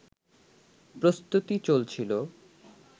প্রস্তুতি চলছিল